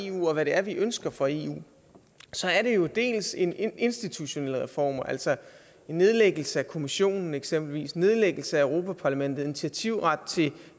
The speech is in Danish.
eu og hvad det er vi ønsker fra eu så er det jo dels en institutionel reform altså en nedlæggelse af kommissionen eksempelvis en nedlæggelse af europa parlamentet og initiativret til